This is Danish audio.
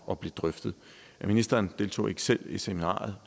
og blev drøftet ministeren deltog ikke selv i seminariet